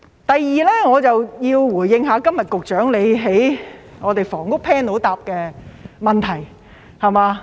第二，我要回應局長今天在房屋 Panel 回答的問題。